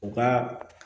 U ka